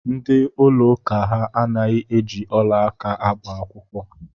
Ndị ụlọ ụka ha anaghị eji ọla aka agba akwụkwọ.